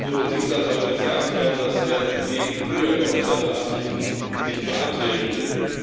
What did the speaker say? Nkurunziza soll gesagt haben, dass er entgegen früher geäußerten Absichten nicht mehr antreten will.